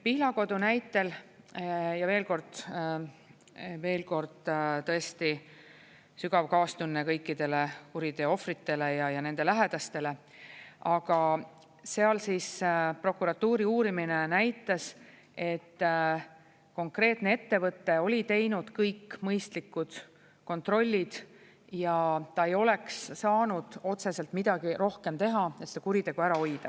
Pihlakodu näitel – ja veel kord, tõesti sügav kaastunne kõikidele kuriteo ohvritele ja nende lähedastele –, aga seal prokuratuuri uurimine näitas, et konkreetne ettevõte oli teinud kõik mõistlikud kontrollid ja ta ei oleks saanud otseselt midagi rohkem teha, et seda kuritegu ära hoida.